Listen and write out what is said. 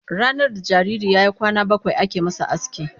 Ranar da jariri ya yi kwana bakwai ake masa aski.